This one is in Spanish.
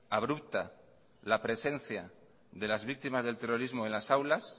abrupta la presencia de las víctimas del terrorismo en las aulas